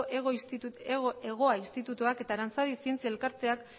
hegoa institutoak eta aranzadi zientzia elkarteak